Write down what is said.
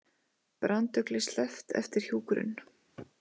Branduglu sleppt eftir hjúkrun